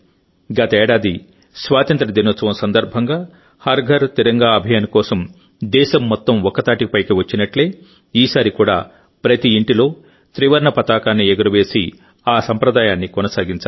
గతేడాది స్వాతంత్య్ర దినోత్సవం సందర్భంగా హర్ఘర్ తిరంగా అభియాన్ కోసం దేశం మొత్తం ఒక్కతాటిపైకి వచ్చినట్టే ఈసారి కూడా ప్రతి ఇంటిలో త్రివర్ణ పతాకాన్ని ఎగురవేసి ఆ సంప్రదాయాన్ని కొనసాగించాలి